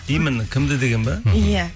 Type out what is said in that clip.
именно кімді деген бе иә